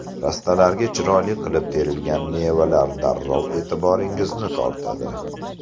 Rastalarga chiroyli qilib terilgan mevalar darrov e’tiboringizni tortadi?